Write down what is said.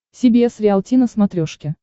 си би эс риалти на смотрешке